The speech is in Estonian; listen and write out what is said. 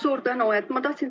Suur tänu!